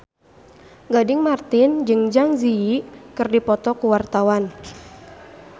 Gading Marten jeung Zang Zi Yi keur dipoto ku wartawan